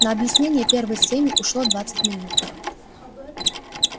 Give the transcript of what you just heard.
на объяснение первой схемы ушло двадцать минут